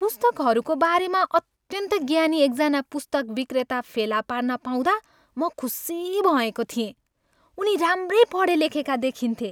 पुस्तकहरूको बारेमा अत्यन्त ज्ञानी एकजना पुस्तक विक्रेता फेला पार्न पाउँदा म खुसी भएँको थिएँ। उनी राम्रै पढेलेखेका देखिन्थे।